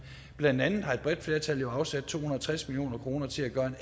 blandt andet har et bredt flertal jo afsat to hundrede og tres million kroner til at gøre